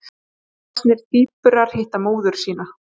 Samvaxnir tvíburar hitta móður sína